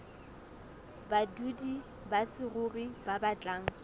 badudi ba saruri ba batlang